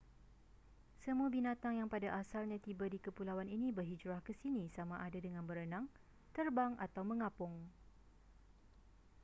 semua binatang yang pada asalnya tiba di kepulauan ini berhijrah ke sini sama ada dengan berenang terbang atau mengapung